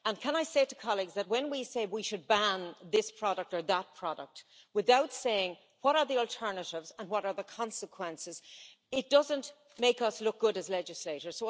And I would point out that when we say we should ban this product or that product, without saying what the alternatives are and what the consequences are, it doesn't make us look good as legislators.